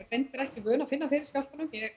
reyndar ekki vön að finna fyrir skjálftunum ég